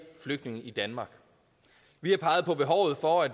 flygtninge i danmark vi har peget på behovet for at